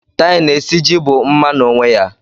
Tie na esiji bụ mma n'onwe ya.